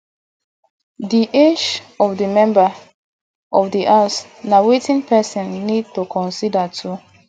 di age of the member of di house na wetin person need to consider too